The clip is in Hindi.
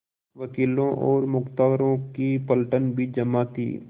वकीलों और मुख्तारों की पलटन भी जमा थी